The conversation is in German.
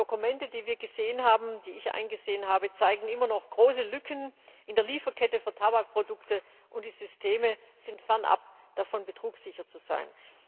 Die Dokumente, die wir gesehen haben, die ich eingesehen habe, zeigen immer noch große Lücken in der Lieferkette für Tabakprodukte, und die Systeme sind weit davon entfernt, betrugssicher zu sein.